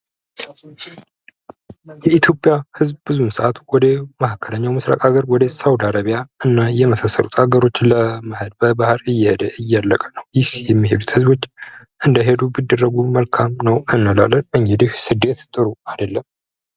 የኢትዮጵያ ህዝብ ብዙውን ሰዓት ወደ መካከለኛው ምስራቅ ሀገር ወደ ሳውዲ አረቢያ እና የመሳሰሉት ሀገሮች ለመሄድ በባህር እየሄደ እያለቀ ነው። ይህ የሚሄዱት ህዝቦች እንዳይሄዱ ቢደረጉ መልካም ነው እንላለን። እንግዲህ ስደት ጥሩ አይደለም።